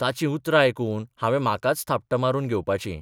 ताचीं उतरां आयकून हांवें म्हाकाच थापटां मारून घेवपाचीं.